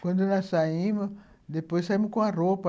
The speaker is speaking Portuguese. Quando nós saímos, depois saímos com a roupa.